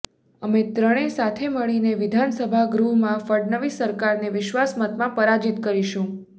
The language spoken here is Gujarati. અમે ત્રણે સાથે મળીને વિધાનસભા ગૃહમાં ફડણવીસ સરકારને વિશ્વાસમતમાં પરાજિત કરીશું